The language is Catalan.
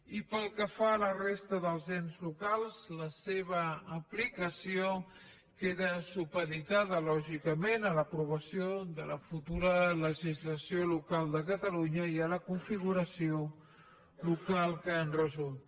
i pel que fa a la resta dels ens locals la seva aplicació queda supeditada lògicament a l’aprovació de la futura legislació local de catalunya i a la configuració local que en resulti